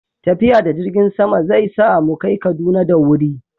tafiya da jirgin sama zai sa mu kai Kaduna da wuri